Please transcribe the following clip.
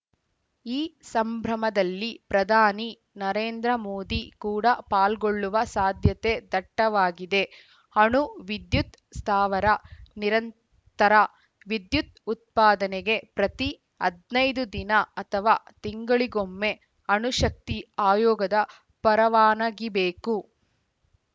ಈ ಸಂಭ್ರಮದಲ್ಲಿ ಪ್ರಧಾನಿ ನರೇಂದ್ರ ಮೋದಿ ಕೂಡ ಪಾಲ್ಗೊಳ್ಳುವ ಸಾಧ್ಯತೆ ದಟ್ಟವಾಗಿದೆ ಅಣು ವಿದ್ಯುತ್‌ ಸ್ಥಾವರ ನಿರಂತರ ವಿದ್ಯುತ್‌ ಉತ್ಪಾದನೆಗೆ ಪ್ರತಿ ಹದ್ ನೈದು ದಿನ ಅಥವಾ ತಿಂಗಳಿಗೊಮ್ಮೆ ಅಣು ಶಕ್ತಿ ಆಯೋಗದ ಪರವಾನಗಿಬೇಕು